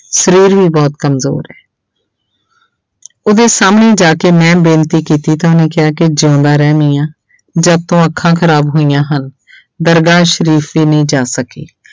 ਸਰੀਰ ਵੀ ਬਹੁਤ ਕੰਮਜ਼ੋਰ ਹੈ ਉਹਦੇ ਸਾਹਮਣੇ ਜਾ ਕੇ ਮੈਂ ਬੇਨਤੀ ਕੀਤੀ ਤੇ ਉਹਨੇ ਕਿਹਾ ਕਿ ਜਿਉਂਦਾ ਰਹਿ ਮੀਆਂ, ਜਦ ਤੋਂ ਅੱਖਾਂ ਖ਼ਰਾਬ ਹੋਈਆਂ ਹਨ ਦਰਗਾਹ ਸਰੀਫ਼ ਹੀ ਨੀ ਜਾ ਸਕੀ।